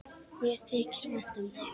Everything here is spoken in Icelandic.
Mér þykir vænt um þig.